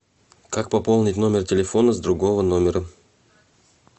как пополнить номер телефона с другого номера